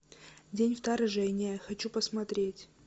день вторжения хочу посмотреть